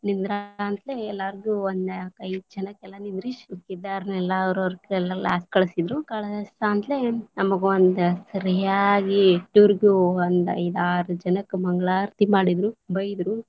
ಎಲ್ಲರಿಗೂ ಒಂದ ನಾಲ್ಕೈದ ಜನಕ್ಕೆಲ್ಲಾ ನಿಂದ್ರಿಸಿ ಕಳಸಿದ್ರು ಕಳಸಂತಲೇ ನಮಗ ಒಂದ್ ಸರಿಯಾಗಿ ಇಸ್ಟುರುಗು ಒಂದ್ ಐದಾರ್ ಜನಕ್ಕ ಮಂಗಳಾರತಿ ಮಾಡಿದ್ರು, ಬೈದ್ರು.